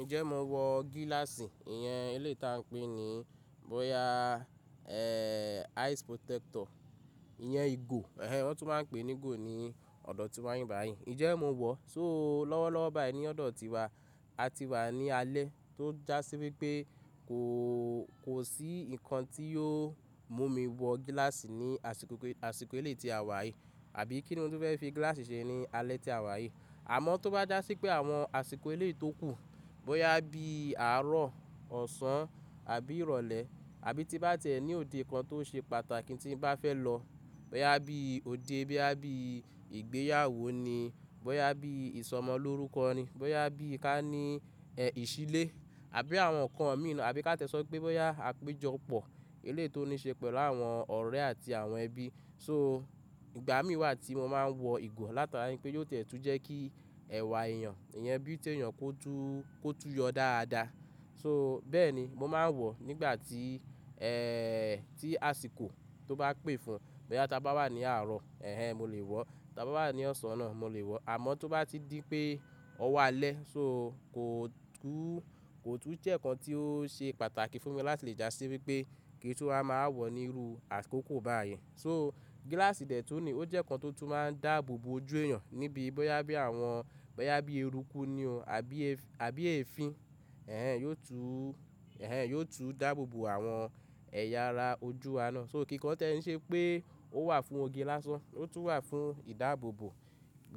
Ǹjẹ́ mo wọ gíláàsì? Ìyẹn eléyi tí a ń pè ní bọ́yá e eyes protector, ìyẹn ìgò, ẹ̀hen won tún máa ń pè ní ìgò ní ọ̀dọ̀ tiwa n bi bayì. Ǹjẹ́ mo wọ? So lọ́wọ́lọ́wọ́ báyìí ní ọ̀dọ̀ tiwa, a ti wà ní alẹ́ tó já sí wípé kò, kò sí ǹkan tí yóò mú mi wọ gíláàsì ní àsìkò, àsìkò eléyi tí a wà yìí, àbí kíni mó tun fẹ́ fi gíláàsì ṣe ní alẹ́ tí a wà yìí. Àmọ́ tó bá já sí pé àwọn àsìkò eléyi tó kù, bóyá bí àárọ̀, ọ̀sán àbí ìrọ̀lẹ́, àbí tí bá ti e ní òde kan tó ṣe pàtàkì tí n bá fẹ́ lọ, bóyá bí òde, bóyá bí ìgbéyàwó ni, bóyá bí ìsọmọlórúkọ ni, bóyá bí kání ìsílé, àbí àwọn ǹkan mi, àbí ká ti ẹ́ sọ pé bọ́yá àpéjọpọ̀ eléyi tó ní ṣe pẹ̀lú àwọn ọ̀rẹ́ àti àwọn ẹbí. So ìgbà mí wà tí mo máa ń wọ ìgò látara wípé yóò ti ẹ̀ tún jẹ́ kí ẹ̀wà èèyàn, iyen beauty eyàn kó tún, kó tún yọ dáadáa. So bẹ́ẹ̀ ni mo máa ń wọ nígbà tí, ẹ́ ẹ́ ẹ́ tí àsìkò tó bá pè fún, bóyá ta bá wà ní àárọ̀, ẹ̀hen n mo lè wọ̀, tí a bá wà ní ọ̀sán náà mo lè wọ̀. Àmọ́ tó bá ti di pé ọwo alẹ́ so kò tún, kò tún jẹ́ ǹkan tí ó ṣe pàtàkì fún mi láti lè já sí wípé kí n tun wa máa wọ̀ níru àkókò báyìí. So gíláàsì dẹ̀ tún ni ó jẹ́ ǹkan tó tún máa ń dáàbò bo ojú èèyàn níbi bóyá bí àwọn, bóyá bí eruku ni o àbí e, àbí èéfín. Ẹ̀ n yóò tún, ẹ̀ n yóò tún dáàbò bo àwọn ẹ̀yà ara ojú wa náà. So kíkọ́ n tí ẹ ń ṣe pé ó wà fún oge lásán, ó tún wà fún ìdáàbò bo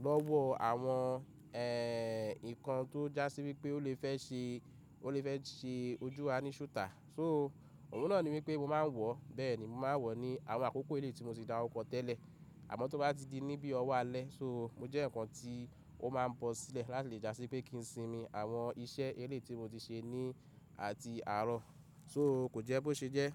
lọ́wọ́ àwọn ẹ̀ nǹkan tó já sí wípé ó lè fẹ́ ṣe, ó lè fẹ́ ṣe ojú wa ní ṣúùtà. So òun náà ni wípé mo máa ń wọ̀, bẹ́ẹ̀ ni mo máa ń wọ̀ ní àwọn àkókò elé tí mo ti dáruko tẹ́lẹ̀. Àmọ́ tó bá ti di ní bí ọ wá alẹ́ so mo jẹ́ eyan kan tí ó máa ń bọ́ sílẹ̀ láti lè já sí pé kí n sinmi àwọn iṣẹ́ eléyi tí mo ti ṣe ní atí àárọ̀. So kò jẹ́ bó ṣe jẹ́.